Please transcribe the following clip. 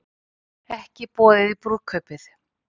Ekki boðið í brúðkaupið